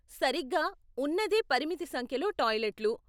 సరిగ్గా, ఉన్నదే పరిమిత సంఖ్యలో టాయిలెట్లు.